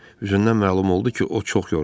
Üzündən məlum oldu ki, o çox yorulub.